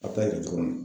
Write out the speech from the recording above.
A ta kɛ cogo min na